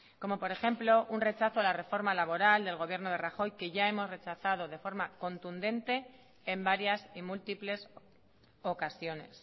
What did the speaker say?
como por ejemplo un rechazo a la reforma laboral del gobierno de rajoy que ya hemos rechazado de forma contundente en varias y múltiples ocasiones